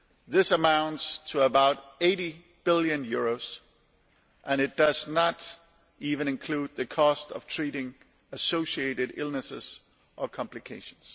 This amounts to about EUR 80 billion, which does not even include the cost of treating associated illnesses or complications.